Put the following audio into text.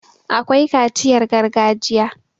akwai kaciyar gargajiya